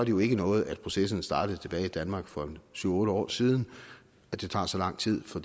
jo ikke noget at processen startede i danmark for en syv otte år siden at det tager så lang tid for